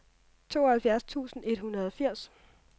tooghalvfjerds tusind et hundrede og firs